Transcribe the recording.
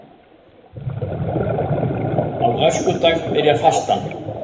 Á öskudag byrjar fastan